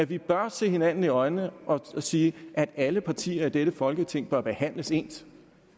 vi bør se hinanden i øjnene og sige at alle partier i dette folketing bør behandles ens